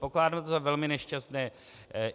Pokládám to za velmi nešťastné.